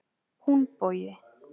Húnbogi